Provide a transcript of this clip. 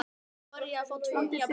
Núna var ég að fá tvo nýja blýanta.